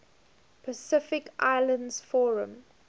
pacific islands forum